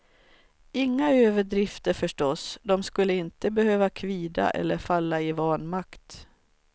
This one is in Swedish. Inga överdrifter förstås, de skulle inte behöva kvida eller falla i vanmakt.